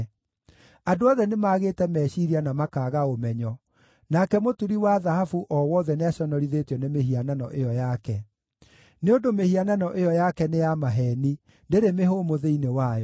“Andũ othe nĩmagĩte meciiria na makaaga ũmenyo, nake mũturi wa thahabu o wothe nĩaconorithĩtio nĩ mĩhianano ĩyo yake. Nĩ ũndũ mĩhianano ĩyo yake nĩ ya maheeni; ndĩrĩ mĩhũmũ thĩinĩ wayo.